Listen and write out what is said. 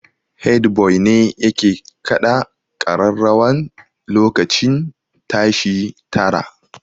Head boy ne yake kaɗa kararrawan lokacin tashi tara